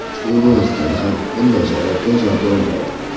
Shu boisdan ham bunday sharoitda yashab bo‘lmaydi.